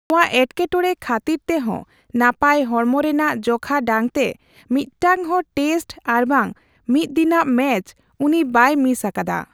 ᱱᱚᱣᱟ ᱮᱴᱠᱮᱴᱚᱲᱮ ᱠᱷᱟᱹᱛᱤᱨ ᱛᱮᱦᱚᱸ ᱱᱟᱯᱟᱭ ᱦᱚᱲᱢᱚ ᱨᱮᱱᱟᱜ ᱡᱚᱠᱷᱟ ᱰᱟᱝ ᱛᱮ ᱢᱤᱫᱴᱟᱝᱦᱚ ᱴᱮᱥᱴ ᱟᱨᱵᱟᱝ ᱢᱤᱫ ᱫᱤᱱᱟᱜ ᱢᱮᱪ ᱩᱱᱤ ᱵᱟᱭ ᱢᱤᱥ ᱟᱠᱟᱫᱟ ᱾